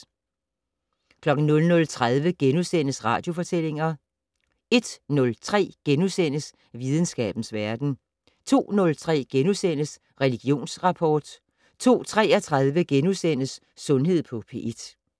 00:30: Radiofortællinger * 01:03: Videnskabens Verden * 02:03: Religionsrapport * 02:33: Sundhed på P1 *